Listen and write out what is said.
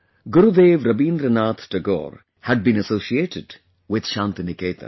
Gurudev Rabindranath Tagore had been associated with Shanti Niketan